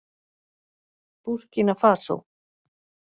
Búrkína Fasó